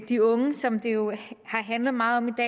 de unge som det jo har handlet meget om i